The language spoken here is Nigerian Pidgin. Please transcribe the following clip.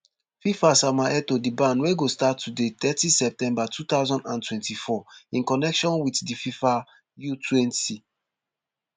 fifa sama etoo di ban wey go start today thirty september two thousand and twenty-four in connection with di fifa utwenty